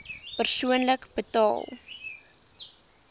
persoonlik betaal